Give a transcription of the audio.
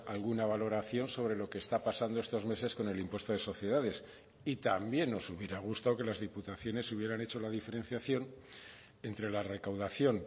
alguna valoración sobre lo que está pasando estos meses con el impuesto de sociedades y también nos hubiera gustado que las diputaciones hubieran hecho la diferenciación entre la recaudación